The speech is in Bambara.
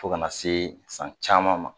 Fo ka na se san caman ma